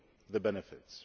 feel the benefits.